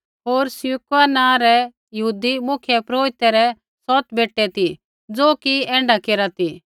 होर स्किक्वा नाँ रै यहूदी मुख्यपुरोहिते रै सौत बेटै ती ज़ो कि ऐण्ढा केरा ती